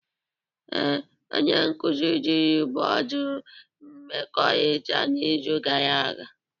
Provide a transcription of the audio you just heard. Ee, onye nkuzi jiri bọọdụ mmekọrịta n'izu gara aga